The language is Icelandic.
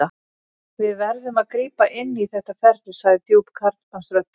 Við verðum að grípa inn í þetta ferli, sagði djúp karlmannsröddin.